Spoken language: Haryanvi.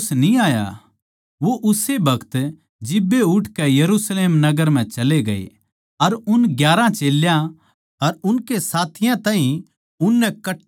वो उस्से बखत जिब्बे उठके यरुशलेम नगर म्ह चले ग्ये अर उन ग्यारहां चेल्यां अर उनकै साथियां ताहीं उननै कट्ठे मिलगे